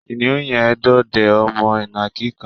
Kìnìún yẹn ń dọdẹ ọmọ ìnàkí kan